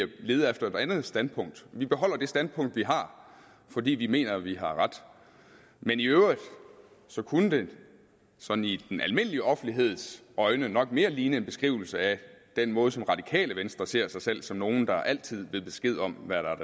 lede efter et andet standpunkt vi beholder det standpunkt vi har fordi vi mener at vi har ret men i øvrigt kunne det sådan i den almindelige offentligheds øjne nok mere ligne en beskrivelse af den måde som radikale venstre ser sig selv som nogle der altid ved besked om hvad der